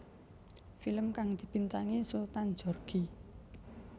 Film kang dibintangi Sultan Djorghi